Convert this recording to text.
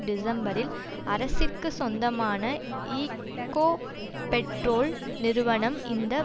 டிசம்பரில் அரசிற்கு சொந்தமான ஈக்கோபெட்ரோல் நிறுவனம் இந்த